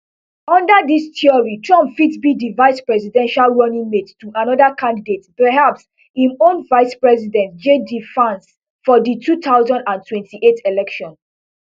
under dis theory trump fit be di vice presidential running mate to anoda candidate perhaps im own vice president jd vance for di two thousand and twenty-eight election